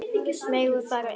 Megum við fara inn?